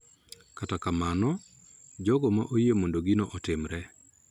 Kata kamano, jogo ma oyie mondo gino otimre .